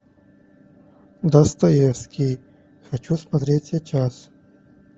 достоевский хочу смотреть сейчас